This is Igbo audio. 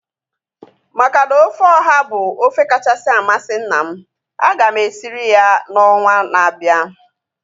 Maka na ofe ọha bụ ofe kachasị amasị nna m, aga m esirie ya ọnwa na-abịa